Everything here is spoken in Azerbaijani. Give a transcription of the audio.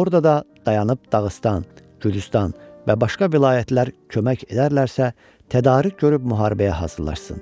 orada da dayanıb Dağıstan, Gülüstan və başqa vilayətlər kömək edərlərsə tədarük görüb müharibəyə hazırlaşsın.